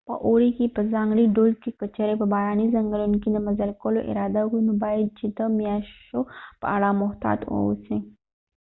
په اوړي که په ځانګړي ډول که چیرې په باراني ځنګلونو کې د مزل کولو اراده وکړې نو باید چې ته د میاشو په اړه محتاط واوسې